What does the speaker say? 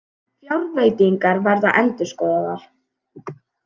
Fjárveitingar verða endurskoðaðar